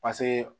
Paseke